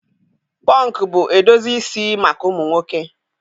Pọnk bụ edozi isi maka ụmụ nwoke.